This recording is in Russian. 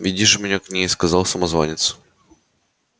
веди ж меня к ней сказал самозванец